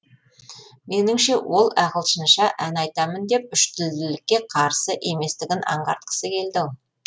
меніңше ол ағылшынша ән айтамын деп үштілділікке қарсы еместігін анғартқысы келді ау